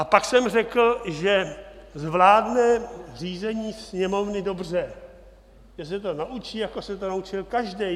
A pak jsem řekl, že zvládne řízení Sněmovny dobře, že se to naučí, jako se to naučil každý.